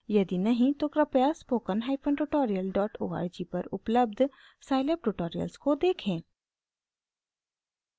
यदि नहीं तो कृपया spokentutorialorg पर उपलब्ध scilab ट्यूटोरियल्स को देखें